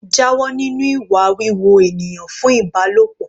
Jáwọ́ nínú ìwà wíwo ènìyàn fún Ìbálòpọ̀.